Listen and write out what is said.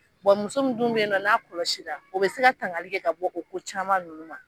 Wa muso mun dun be yen, n'a kɔlɔsi la, o bɛ se ka tangali kɛ ka bɔ o ko caman nunnu ma